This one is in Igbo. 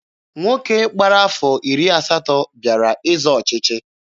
Nwoke gbara afọ iri asatọ bịara ịzọ ọchịchị.